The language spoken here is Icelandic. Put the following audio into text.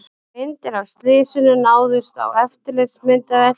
Myndir af slysinu náðust á eftirlitsmyndavél